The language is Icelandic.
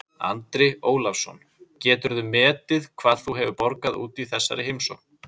Andri Ólafsson: Geturðu metið hvað þú hefur borgað út í þessari heimsókn?